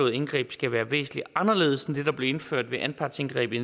indgreb skal være væsentlig anderledes end det der blev indført ved anpartsindgrebet i